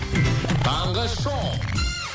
таңғы шоу